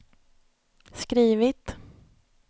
skrivit